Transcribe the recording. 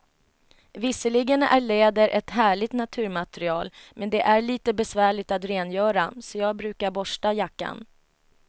Visserligen är läder ett härligt naturmaterial, men det är lite besvärligt att rengöra, så jag brukar borsta jackan.